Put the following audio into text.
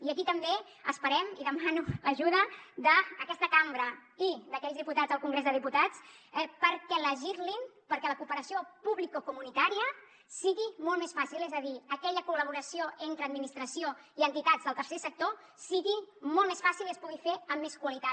i aquí també esperem i demano l’ajuda d’aquesta cambra i d’aquells diputats al congrés de diputats perquè legislin perquè la cooperació publicocomunitària sigui molt més fàcil és a dir aquella col·laboració entre administració i entitats del tercer sector sigui molt més fàcil i es pugui fer amb més qualitat